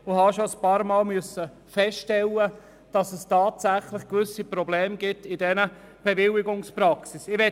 Ich musste schon ein paarmal feststellen, dass es tatsächlich gewisse Probleme mit den Bewilligungspraxen gibt.